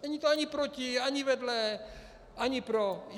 Není to ani proti, ani vedle, ani pro.